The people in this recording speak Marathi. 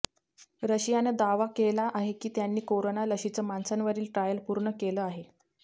रशियाने दावा केला आहे की त्यांनी कोरोना लशीचं माणसांवरील ट्रायल पूर्ण केलं आहे